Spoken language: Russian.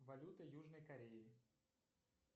валюта южной кореи